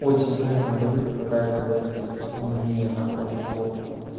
очень умные люди пытаются выглядеть умнее на фоне глупых